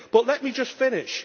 But let me just finish.